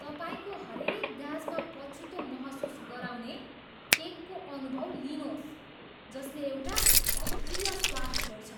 तपाईँको हरेक गाँसमा पछुतो महसुस गराउने केकको अनुभव लिनुहोस् जसले एउटा अप्रिय स्वाद छोड्छ।